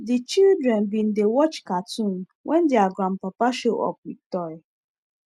the children bin dey watch cartoon when their gran papa show up with toy